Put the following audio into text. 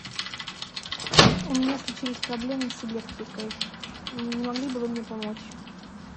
у меня случились проблемы с электрикой не могли бы вы мне помочь